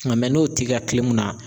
Nga n'o t'i ka kilimun na